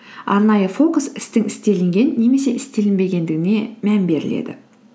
арнайы фокус істің істелінген немесе істелінбегендігіне мән беріледі